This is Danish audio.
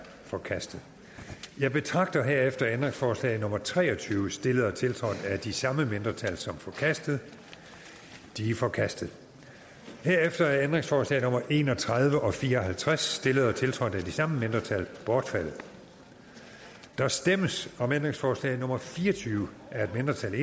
forkastet jeg betragter herefter ændringsforslag nummer tre og tyve stillet og tiltrådt af de samme mindretal som forkastet de er forkastet herefter er ændringsforslag nummer en og tredive og nummer fire og halvtreds stillet og tiltrådt af de samme mindretal bortfaldet der stemmes om ændringsforslag nummer fire og tyve af et mindretal